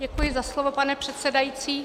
Děkuji za slovo, pane předsedající.